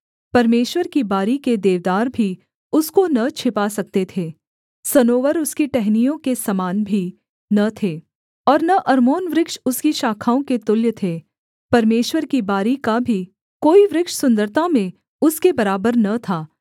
परमेश्वर की बारी के देवदार भी उसको न छिपा सकते थे सनोवर उसकी टहनियों के समान भी न थे और न अर्मोन वृक्ष उसकी शाखाओं के तुल्य थे परमेश्वर की बारी का भी कोई वृक्ष सुन्दरता में उसके बराबर न था